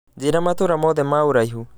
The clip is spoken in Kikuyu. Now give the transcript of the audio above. njĩra matũra mothe ma ũraihũ